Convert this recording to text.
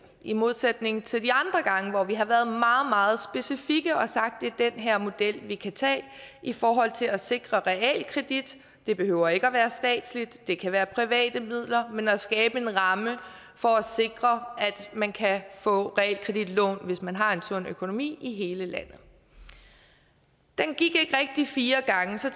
i modsætning til de andre gange hvor vi har været meget meget specifikke og sagt at det er den her model vi kan tage i forhold til at sikre realkredit det behøver ikke at være statsligt det kan være private midler men er skabe en ramme for at sikre at man kan få realkreditlån hvis man har en sund økonomi i hele landet den gik ikke rigtig fire gange så